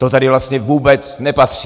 To sem vlastně vůbec nepatří.